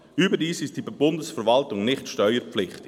Überdies ist die Bundesverwaltung nicht steuerpflichtig.